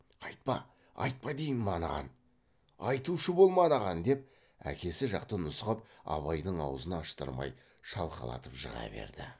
айтпа айтпа деймін анаған айтушы болма анаған деп әкесі жақты нұсқап абайдың аузын аштырмай шалқалатып жыға берді